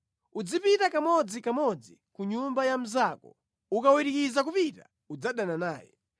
Uzipita kamodzikamodzi ku nyumba ya mnzako ukawirikiza kupita, udzadana naye.